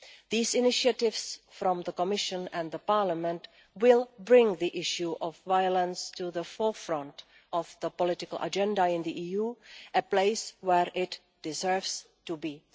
These initiatives from the Commission and the Parliament will bring the issue of violence to the forefront of the political agenda in the EU a place where it deserves to be.